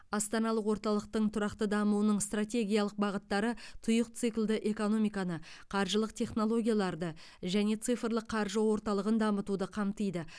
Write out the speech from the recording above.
астаналық орталықтың тұрақты дамуының стратегиялық бағыттары тұйық циклді экономиканы қаржылық технологияларды және цифрлық қаржы орталығын дамытуды қамтиды